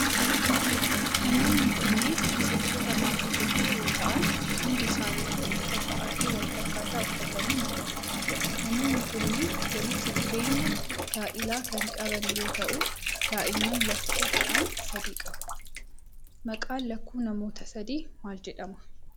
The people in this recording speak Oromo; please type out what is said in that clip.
Namoonni kunneen miseensota maatii tokkoo yoo ta'an, hundi isaanituu uffata adii walfakkaataa uffatanii mul'atu. Namoonni kunneen ,walitti dhufeenya gaa'ilaa kan qban yoo ta'u, daa'imman lakkuu ta'an sadii qabu. Maqaan lakkuu namoota sadii maal jedhama?